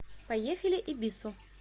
поехали эбису